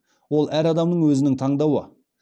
ол әр адамның өзінің таңдауы